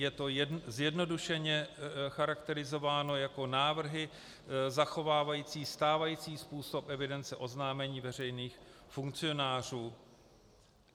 Je to zjednodušeně charakterizováno jako návrhy zachovávající stávající způsob evidence oznámení veřejných funkcionářů.